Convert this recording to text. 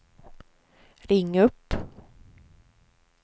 ring upp